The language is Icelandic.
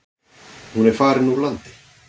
Hún er farin úr landi.